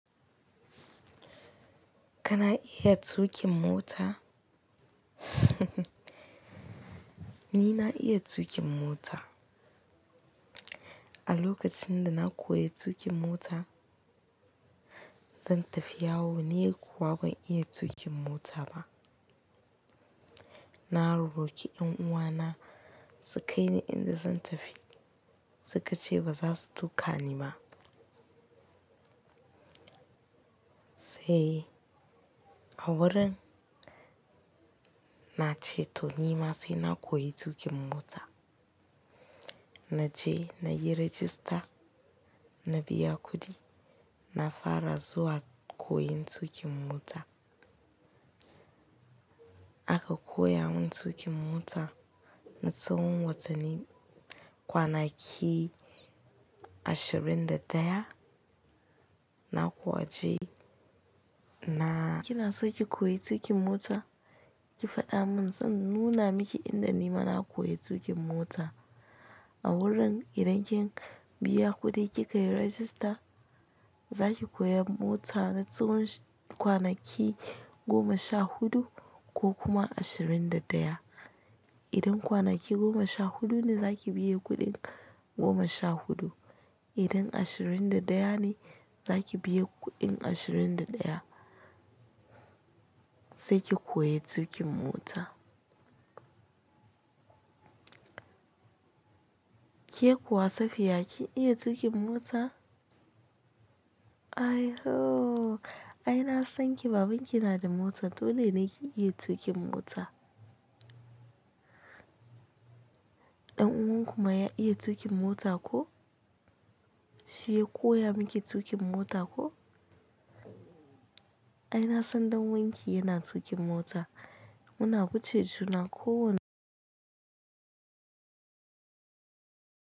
Kana iya tuƙin mota? Ni na iya tuƙin mota. A lokacin da na koya tuƙin mota, zan tafi yawo. Ni kuwa ban iya tuƙin mota ba. Na rorroki 'yan uwana, su kai ni inda zan tafi. Suka ce ba za su tuka ni ba. Sai a wurin na ce to ni ma sai na koyi tuƙin mota. Na je na yi rajista, na biya kuɗi, na fara zuwa koyon tuƙin mota. Aka koya mun tuƙin mota, na tsawon watanni kwanaki ashirin da ɗaya, na kuwa je na kina so ki koyi tuƙin mota? Ki faɗa min zan nuna miki inda ni ma na koyi tuƙin mota. A wurin idan kin biya kuɗin ki ka yi rajista, za ki koya mota na tsawon kwanaki goma sha huɗu ko kuma ashirin da ɗaya. Idan kwanaki goma sha huɗu ne za ki biya kuɗin goma sha huɗu. Idan ashirin da ɗaya ne za ki biya kuɗin ashirin da ɗaya sai ki koyi tuƙin mota. Ke kuwa Safiya ki iya tuƙin mota? Ai ho! Ai na san ki babanki na da mota dole ne ki iya tuƙin mota. Dan uwanku ma ya iya tuƙin mota ko? Shi ya koya miki tuƙin mota ko? Ai na san dan uwanki yana tuƙin mota. Muna kwu ce juna ko wan.